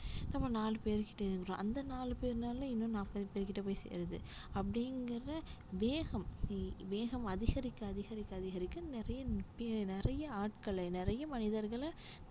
நம்ம நாலு பேர் இருக்கிறோம் அந்த நாலு பேருனால இன்னும் நாற்பது பேர்கிட்ட போய் சேருது அப்படிங்கிற வேகம் வேகம் அதிகரிக்க அதிகரிக்க அதிகரிக்க நிறைய ஆட்களை நிறைய மனிதர்கள